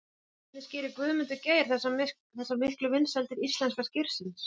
En hvernig skýrir Guðmundur Geir þessa miklu vinsældir íslenska skyrsins?